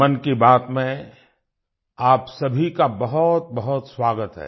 मन की बात में आप सभी का बहुतबहुत स्वागत है